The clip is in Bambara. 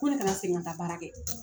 Ko ne kana segin ka taa baara kɛ.